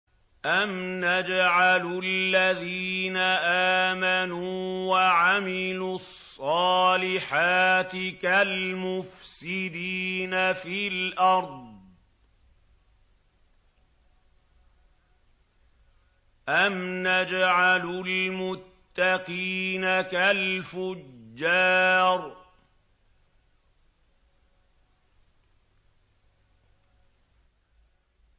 أَمْ نَجْعَلُ الَّذِينَ آمَنُوا وَعَمِلُوا الصَّالِحَاتِ كَالْمُفْسِدِينَ فِي الْأَرْضِ أَمْ نَجْعَلُ الْمُتَّقِينَ كَالْفُجَّارِ